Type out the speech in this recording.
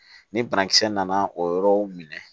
Ni banakisɛ nana o yɔrɔw minɛ